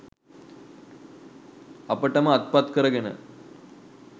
අපට ම අත්පත් කරගෙන